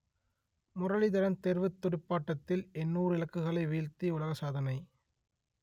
முரளிதரன் தேர்வுத் துடுப்பாட்டத்தில் எண்ணூறு இலக்குகளை வீழ்த்தி உலக சாதனை